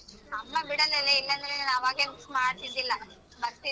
ಅಮ್ಮ ಬಿಡಲ್ಲಲೇ ಇಲ್ಲಾಂದ್ರೆ ನಾನ್ ಅವಾಗೆ miss ಮಾಡ್ತಿದ್ದಿಲ್ಲ ಬರ್ತಿದ್ದೆ.